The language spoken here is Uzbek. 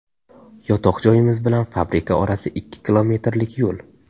Yotoq joyimiz bilan fabrika orasi ikki kilometrlik yo‘l.